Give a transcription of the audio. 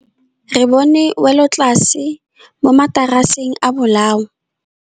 Re bone wêlôtlasê mo mataraseng a bolaô.